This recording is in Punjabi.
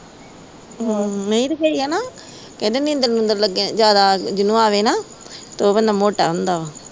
ਨਹੀਂ ਕਹਿੰਦੇ ਨਿੰਦਰ-ਨੁੰਦਰ ਜਿਹਨੂੰ ਜਿਆਦਾ ਆਵੇ ਨਾ ਤੇ ਉਹ ਕਹਿੰਦੇ ਮੋਟਾ ਹੁੰਦਾ ਵਾ।